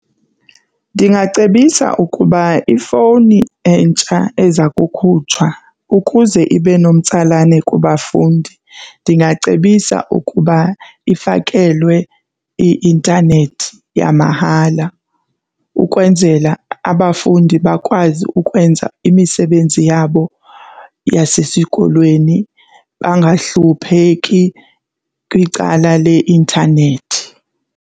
Ndingacebisa ukuba ifowuni entsha eza kukhutshwa ukuze ibe nomtsalane kubafundi ndingacebisa ukuba ifakelwe i-intanethi yamahala ukwenzela abafundi bakwazi ukwenza imisebenzi yabo yasesikolweni bangahlupheki kwicala leintanethi.